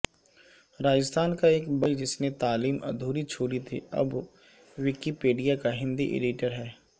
راجستھان کا ایک بڑھئی جس نےتعلیم ادھوری چھوڑی تھی اب وکی پیڈیا کا ہندی ایڈیٹرہے